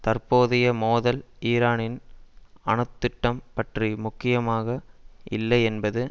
தற்போதைய மோதல் ஈரானின் அணுத்திட்டம் பற்றி முக்கியமாக இல்லை என்பதை